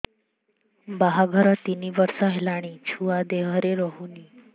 ବାହାଘର ତିନି ବର୍ଷ ହେଲାଣି ଛୁଆ ଦେହରେ ରହୁନି